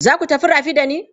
Za ku tafi rafi da ni?